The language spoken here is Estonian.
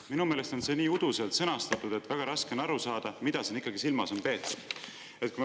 Minu meelest on see nii uduselt sõnastatud, et väga raske on aru saada, mida siin ikkagi silmas on peetud.